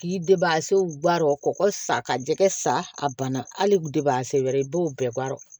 K'i debaase baara o kɔ kɔgɔ sa ka jɛgɛ sa a banna hali wɛrɛ i b'o bɛɛ baara